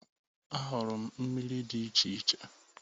Ahụrụ m miri di iche iche.